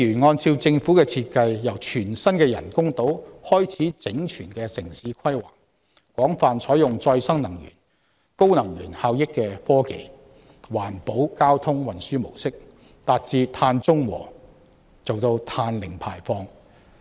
按照政府的設計，由全新的人工島開始整全的城市規劃，廣泛採用再生能源、高能源效益科技及環保交通運輸模式，達致"碳中和"及"碳零排放"。